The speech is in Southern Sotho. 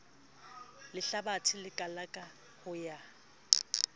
lehlabathe le kalaka ho ya